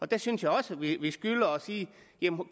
der synes jeg også at vi skylder at sige